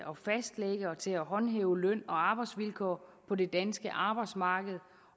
at håndhæve løn og arbejdsvilkår på det danske arbejdsmarked